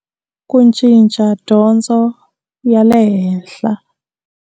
Ku cinca dyondzo ya le henhla.